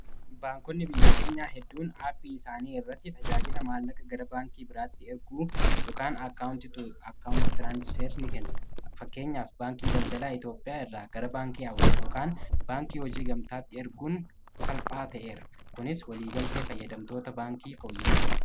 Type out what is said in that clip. Baankonni biyya keenyaa hedduun aappii isaanii irratti tajaajila maallaqa gara baankii biraatti erguu akkaawunti tu akkaawunti tiraansfer ni kennu fakkeenyaa fi baankii daldalaa Itoopiyaa irraa gara baankii awwaa sh yookaan baankii hojii gamtaatti erguun salphaa ta’eera kunis waliigaltee fayyadamtoota baankii fooyyeesseera